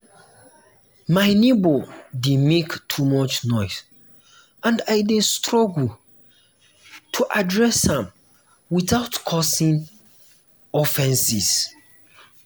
my neighbor dey make too much noise and i dey struggle to address am without without causing offense.